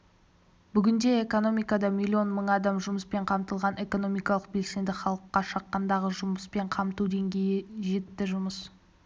бүгінде экономикада миллион мың адам жұмыспен қамтылған экономикалық белсенді халыққа шаққандағы жұмыспен қамту деңгейі жетті жұмыс